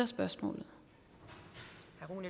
spørgsmål